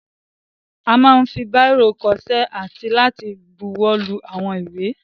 A máa ń fi báìrò kọṣẹ́ àti láti buwọ́lu àwọn ìwé.